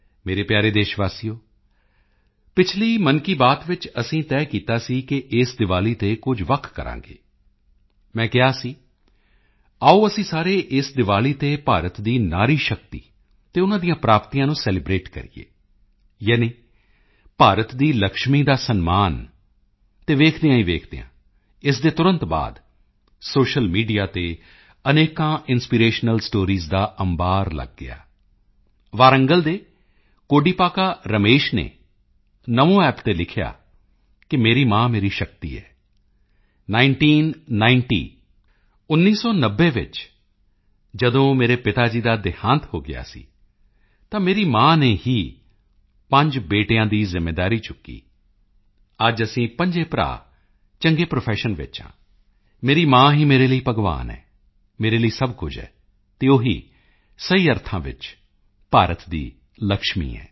ਮੇਰੇ ਪਿਆਰੇ ਦੇਸ਼ਵਾਸੀਓ ਪਿਛਲੀ ਮਨ ਕੀ ਬਾਤ ਵਿੱਚ ਅਸੀਂ ਤੈਅ ਕੀਤਾ ਸੀ ਕਿ ਇਸ ਦੀਵਾਲੀ ਤੇ ਕੁਝ ਵੱਖ ਕਰਾਂਗੇ ਮੈਂ ਕਿਹਾ ਸੀ ਆਓ ਅਸੀਂ ਸਾਰੇ ਇਸ ਦੀਵਾਲੀ ਤੇ ਭਾਰਤ ਦੀ ਨਾਰੀ ਸ਼ਕਤੀ ਅਤੇ ਉਨ੍ਹਾਂ ਦੀਆਂ ਪ੍ਰਾਪਤੀਆਂ ਨੂੰ ਸੈਲੀਬ੍ਰੇਟ ਕਰੀਏ ਯਾਨੀ ਭਾਰਤ ਦੀ ਲਕਸ਼ਮੀ ਦਾ ਸਨਮਾਨ ਅਤੇ ਵੇਖਦਿਆਂ ਹੀ ਵੇਖਦਿਆਂ ਇਸ ਦੇ ਤੁਰੰਤ ਬਾਅਦ ਸੋਸ਼ੀਅਲ ਮੀਡੀਆ ਤੇ ਅਨੇਕਾਂ ਇੰਸਪੀਰੇਸ਼ਨਲ ਸਟੋਰੀਜ਼ ਦਾ ਅੰਬਾਰ ਲੱਗ ਗਿਆ ਵਾਰੰਗਲ ਦੇ ਕੋਡੀਪਾਕਾ ਰਮੇਸ਼ ਨੇ ਨਮੋਅੱਪ ਤੇ ਲਿਖਿਆ ਕਿ ਮੇਰੀ ਮਾਂ ਮੇਰੀ ਸ਼ਕਤੀ ਹੈ ਨਾਈਨਟੀਨ ਨਿੰਟੀ 1990 ਵਿੱਚ ਜਦੋਂ ਮੇਰੇ ਪਿਤਾ ਜੀ ਦਾ ਦਿਹਾਂਤ ਹੋ ਗਿਆ ਸੀ ਤਾਂ ਮੇਰੀ ਮਾਂ ਨੇ ਹੀ ਪੰਜ ਬੇਟਿਆਂ ਦੀ ਜ਼ਿੰਮੇਵਾਰੀ ਚੁੱਕੀ ਅੱਜ ਅਸੀਂ ਪੰਜੇ ਭਰਾ ਚੰਗੇ ਪ੍ਰੋਫੈਸ਼ਨ ਵਿੱਚ ਹਾਂ ਮੇਰੀ ਮਾਂ ਹੀ ਮੇਰੇ ਲਈ ਭਗਵਾਨ ਹੈ ਮੇਰੇ ਲਈ ਸਭ ਕੁਝ ਹੈ ਅਤੇ ਉਹ ਸਹੀ ਅਰਥਾਂ ਵਿੱਚ ਭਾਰਤ ਦੀ ਲਕਸ਼ਮੀ ਹੈ